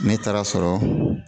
Ne taara sɔrɔ